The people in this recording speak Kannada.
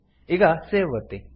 ಈಗ ಸೇವ್ ಒತ್ತಿ